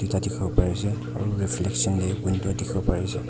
tate dikhiwo pari ase aru reflection deh window dikhiwo pari ase.